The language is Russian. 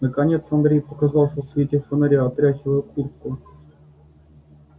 наконец андрей показался в свете фонаря отряхивая куртку